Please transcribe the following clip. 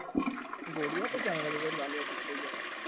গড়িয়াতে জমে না তোদের বাড়ির ওই দিকটাই জমে,